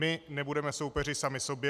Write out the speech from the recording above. My nebudeme soupeři sami sobě.